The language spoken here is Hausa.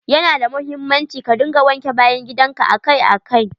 Ya na da muhimmanci ka dinga wanke bayan gidan ka akai akai.